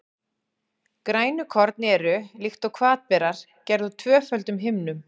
Grænukorn eru, líkt og hvatberar, gerð úr tvöföldum himnum.